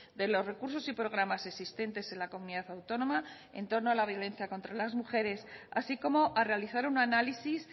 de los recursos y programas existentes en la comunidad autónoma en torno a la violencia contra las mujeres así como a realizar un análisis